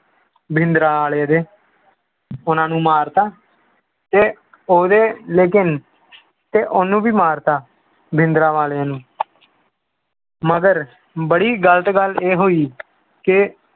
ਭਿੰਡਰਾਂ ਵਾਲੇ ਦੇ ਉਹਨਾਂ ਨੂੰ ਮਾਰ ਦਿੱਤਾ, ਤੇ ਉਹਦੇ ਲੇਕਿੰਨ ਤੇ ਉਹਨੂੰ ਵੀ ਮਾਰ ਦਿੱਤਾ ਭਿੰਡਰਾਂ ਵਾਲੇ ਨੂੰ ਮਗਰ ਬੜੀ ਗ਼ਲਤ ਗੱਲ ਇਹ ਹੋਈ ਕਿ